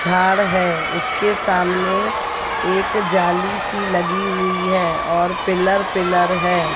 झाड़ है उसके सामने एक जाली सी लगी हुई है और पिलर पिलर है।